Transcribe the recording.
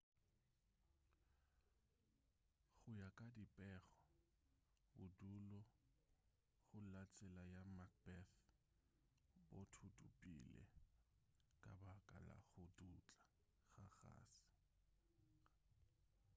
go ya ka dipego bodulo go la tsela ya macbeth bo thuthupile ka baka la go dutla ga kgase